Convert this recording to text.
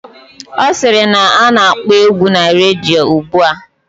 Ọ sịrị na a na-akpọ egwu na redio ugbua